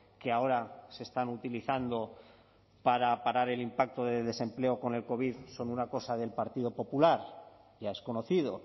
que ahora se están utilizando para parar el impacto de desempleo con el covid son una cosa del partido popular ya es conocido